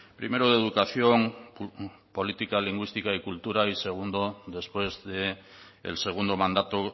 primero de educación política lingüística y cultura y segundo después del segundo mandato